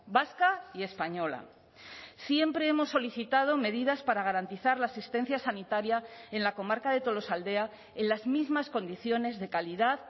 vasca y española siempre hemos solicitado medidas para garantizar la asistencia sanitaria en la comarca de tolosaldea en las mismas condiciones de calidad